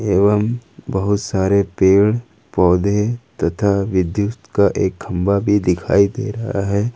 एवम बहुत सारे पेड़ पौधे तथा विद्युत का एक खंभा भी दिखाई दे रहा है।